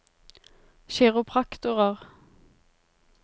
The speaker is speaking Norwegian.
kiropraktorer